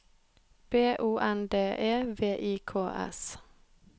B O N D E V I K S